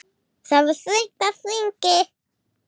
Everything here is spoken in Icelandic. Það var þröng á þingi.